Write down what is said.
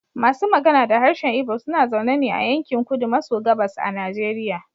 Masu magana da harshen Igbo suna zaune ne a yankin kudu maso gabas a Nigeria.